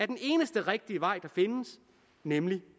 den eneste rigtige vej der findes nemlig